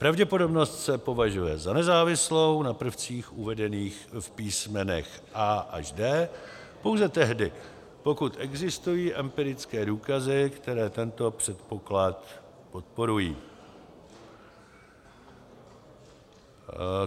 Pravděpodobnost se považuje za nezávislou na prvcích uvedených v písmenech a) až d) pouze tehdy, pokud existují empirické důkazy, které tento předpoklad podporují.